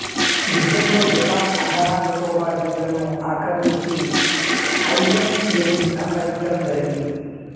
యుద్ధంలో జపాన్ అండమాన్ నికోబార్ దీవులను ఆక్రమించి ఐ ఎన్ ఎకి అప్పగించటం జరిగింది